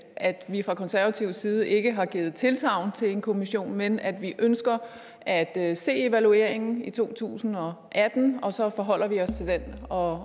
at vi fra konservatives side ikke har givet tilsagn til en kommission men at vi ønsker at at se evalueringen i to tusind og atten og så forholder vi os til den og